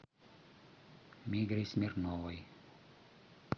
мигре смирновой